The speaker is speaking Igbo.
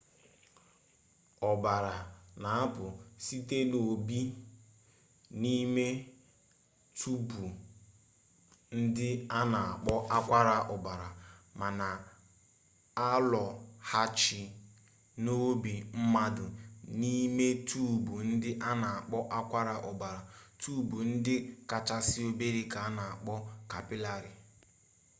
ọbara na-apụ site n'obi n'ime tuubu ndị a na-akpọ akwara ọbara ma na-alọghachi n'obi mmadụ n'ime tuubu ndị a na-akpọ akwara ọbara tuubu ndị kachasị obere ka a na-akpọ kapịlarị